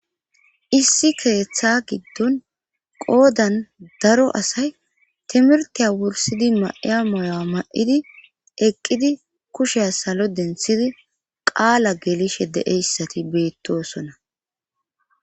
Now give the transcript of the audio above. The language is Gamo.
issi keeththa giddon qoodan daro asay timirtiya wursidi ma7iya moyowa ma7idi eqqidi kushea salo denthidi qaala geelishe deeyssati beettosona